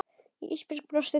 Ísbjörg brosti til hans.